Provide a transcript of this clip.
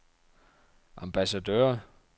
ambassadør